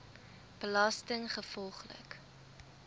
belastinggevolglik